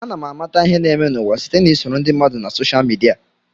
Ana m amata ihe na-eme n'ụwa site na isoro ndị mmadụ na soshal midia.